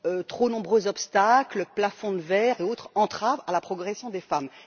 trop nombreux obstacles, plafonds de verre et autres entraves à la progression des femmes.